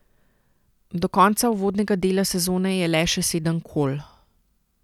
Do konca uvodnega dela sezone je le še sedem kol.